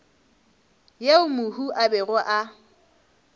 yeo mohu a bego a